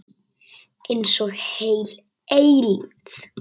Einsog heil eilífð.